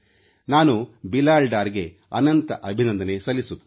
ನಾನು ಬಿಲಾಲ್ ಡಾರ್ಗೆ ಅನಂತ ಅಭಿನಂದನೆ ಸಲ್ಲಿಸುತ್ತೇನೆ